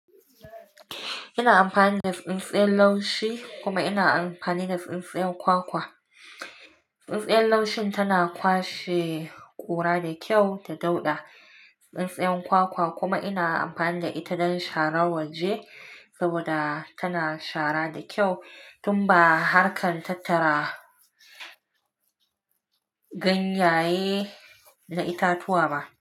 Ina amfani da tsintsiyar laushi kuma ina amfani da tsintsiyar kwakwa. Tsintsiyar laushin tana kwashe kura da kyau da dauɗa. Tsintsiyar kwakwa kuma ina amfani da ita don sharan waje saboda tana shara da kyau tun ba harkan tattara ganyaye da itatuwa ba.